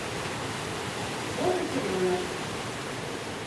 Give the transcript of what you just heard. волк и теленок